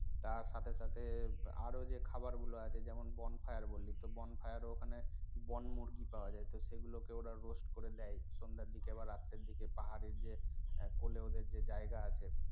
তার সাথে সাথে আরও যে খাবার গুলো আছে যেমন bonfire বললি bonfire ও ওখানে বনমুরগি পাওয়া যায় তো সেগুলোকে ওরা roast করে দেয় সন্ধ্যার দিকে আবার রাতের দিকে পাহাড়ের যে কোলে ওদের জায়গা আছে